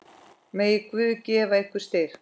Megi Guð gefa ykkur styrk.